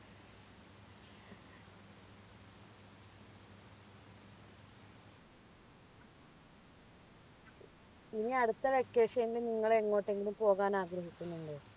ഇനി അടുത്ത vacation നിങ്ങൾ എങ്ങോട്ടെങ്കിലും പോകാൻ ആഗ്രഹിക്കുന്നുണ്ടോ